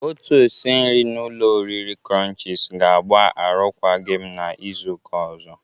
Otu osi nri n'ụlọ oriri krọnchiz ga-agba arụkwagi m n'Izuụka ọzọ.